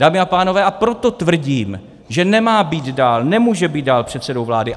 Dámy a pánové, a proto tvrdím, že nemá být dál, nemůže být dál předsedou vlády.